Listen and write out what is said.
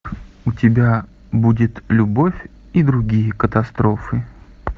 у тебя будет любовь и другие катастрофы